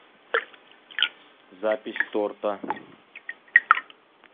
запись торта